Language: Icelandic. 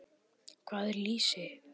Hvað er lýsi?